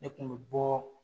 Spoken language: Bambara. Ne kun bɛ bɔɔ.